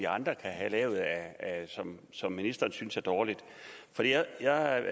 andre kan have lavet som som ministeren synes er dårlige jeg